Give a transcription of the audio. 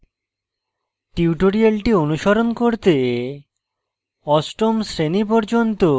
tutorial অনুসরণ করতে